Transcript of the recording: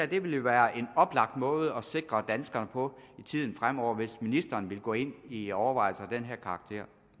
det vil jo være en oplagt måde at sikre danskerne på i tiden fremover hvis ministeren vil gå ind i overvejelser af den her karakter